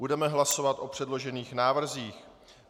Budeme hlasovat o předložených návrzích.